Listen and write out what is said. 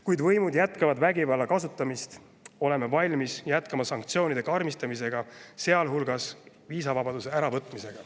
Kui võimud jätkavad vägivalla kasutamist, oleme valmis jätkama sanktsioonide karmistamist, sealhulgas viisavabaduse äravõtmist.